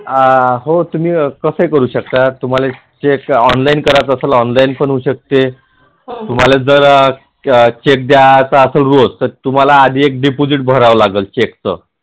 अं हो तुम्ही कस ही करु शकता तुम्हाला एक online करायच असल तर ओंनलाईन पण होऊ शकते तुम्हाला जर check द्यायच असल रोज तर तुम्हाला आधी एक deposit भराव लागत check चं